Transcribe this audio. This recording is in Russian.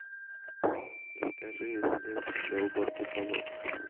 закажи средство для уборки полов